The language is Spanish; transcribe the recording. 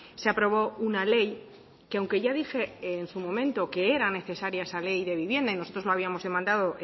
se aprobó una ley que aunque ya dije en su momento que era necesaria esa ley de vivienda y nosotros lo habíamos demandado